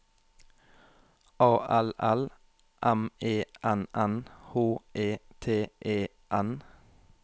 A L L M E N N H E T E N